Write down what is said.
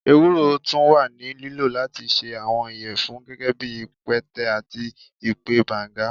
ewuro tun wa ni lilo lati ṣe awọn iyẹfun, gẹgẹbi ipẹtẹ ati ipẹ banga.